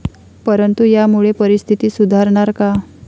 परंतु यामुळे परिस्थिती सुधारणार का?